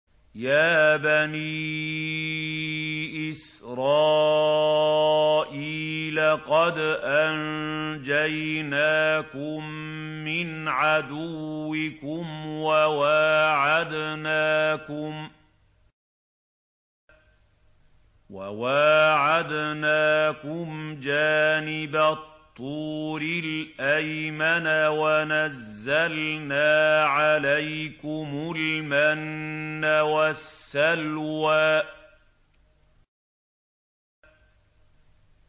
يَا بَنِي إِسْرَائِيلَ قَدْ أَنجَيْنَاكُم مِّنْ عَدُوِّكُمْ وَوَاعَدْنَاكُمْ جَانِبَ الطُّورِ الْأَيْمَنَ وَنَزَّلْنَا عَلَيْكُمُ الْمَنَّ وَالسَّلْوَىٰ